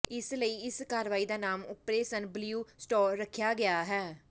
ਇਸੇ ਲਈ ਇਸ ਕਾਰਵਾਈ ਦਾ ਨਾਮ ਓਪਰੇਸਨ ਬਲਿਊ ਸਟਾਰ ਰੱਖਿਆ ਗਿਆ